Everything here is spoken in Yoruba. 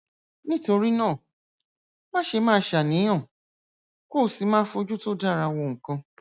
nítorí náà máṣe máa ṣàníyàn kó o sì máa fojú tó dára wo nǹkan